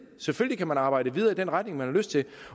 selvfølgelig kan man arbejde videre i den retning man har lyst til